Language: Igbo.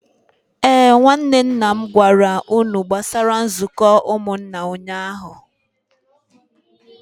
Ee, nwanne nna m gwara unu gbasara nzuko umunna ụnyahụ